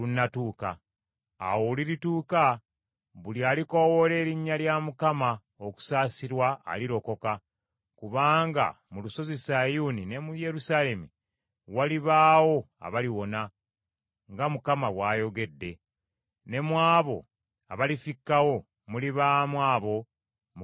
Awo olulituuka buli alikoowoola erinnya lya Mukama okusaasirwa alirokoka. Kubanga mu lusozi Sayuuni ne mu Yerusaalemi walibaawo abaliwona nga Mukama bw’ayogedde, ne mu abo abalifikkawo mulibaamu abo Mukama b’aliyita.”